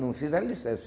Não fiz ali certo.